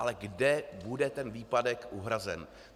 Ale kde bude ten výpadek uhrazen?